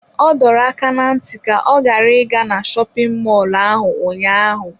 Ọ dọrọ aka ná ntị ka ọ ghara ịga na shopin mọlụ ahụ ụnyaahụ!